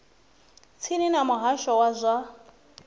tsini ya muhasho wa zwa